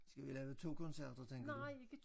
Skal vi lave 2 koncerter tænker du?